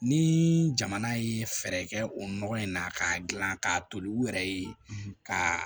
Ni jamana ye fɛɛrɛ kɛ o nɔgɔ in na k'a gilan k'a to u yɛrɛ ye ka